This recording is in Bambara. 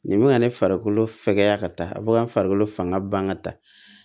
Nin bɛ ka ne farikolo fɛkɛya ka taa a bɛ ka farikolo fanga ban ka taa